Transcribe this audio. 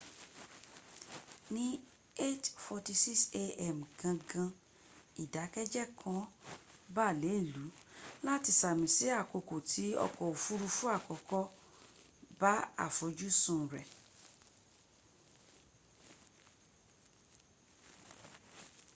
ni 8:46 a.m. gangan idakeje kan ba le ilu lati sami si akoko ti ọkọ ofurufu akọkọ ba afojusun rẹ